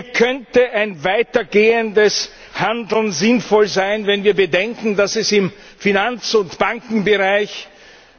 Hier könnte ein weiter gehendes Handeln sinnvoll sein, wenn wir bedenken, dass es im Finanz und Bankenbereich